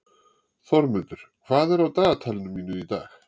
Þormundur, hvað er á dagatalinu mínu í dag?